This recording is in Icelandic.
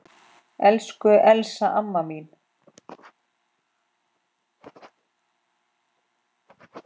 Elsku Elsa amma mín.